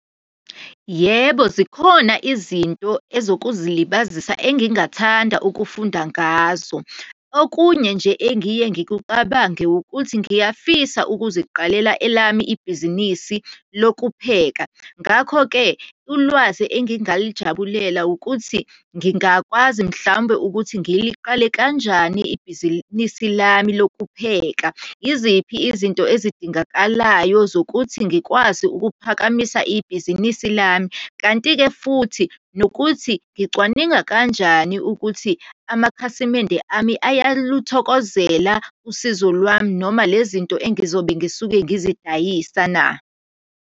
Yebo, zikhona izinto ezokuzilibazisa engingathanda ukufunda ngazo. Okunye nje engiye ngikucabange, ukuthi ngiyafisa ukuziqalela elami ibhizinisi lokupheka. Ngakho-ke ulwazi engingalijabulela ukuthi, ngingakwazi mhlawumbe ukuthi ngiqale kanjani ibhizinisi lami lokupheka, iziphi izinto ezidingakalayo zokuthi ngikwazi ukuphakamisa ibhizinisi lami? Kanti-ke futhi nokuthi ngicwaninga kanjani ukuthi amakhasimende ami ayaluthokozela usizo lwami, noma lezi zinto engizobe ngisuke ngizidayisa na?